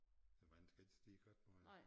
Æ vand skal ikke stige ret meget